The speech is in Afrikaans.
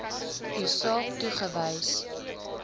u saak toegewys